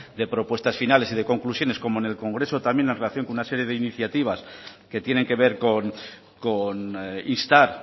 de propuestas finales y de conclusiones como en el congreso también en relación con una serie de iniciativas que tienen que ver con instar